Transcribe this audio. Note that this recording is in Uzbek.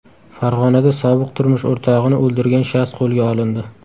Farg‘onada sobiq turmush o‘rtog‘ini o‘ldirgan shaxs qo‘lga olindi.